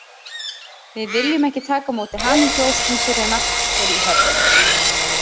Við viljum ekki taka á móti hamingjuóskum fyrr en allt er í höfn.